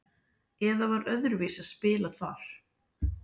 eða var það öðruvísi að spila þar?